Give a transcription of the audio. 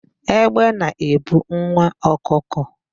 Egbe na-ebu nwa ọkụkọ.